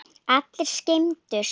Allir skemmtu sér vel.